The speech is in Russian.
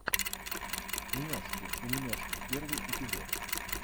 няшки умняшки первый эпизод